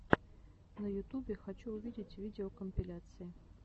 на ютубе хочу увидеть видеокомпиляции